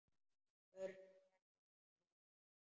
Örn verður ekki heima.